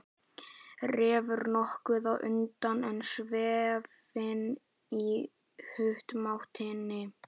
Refur nokkuð á undan en Sveinn í humáttinni.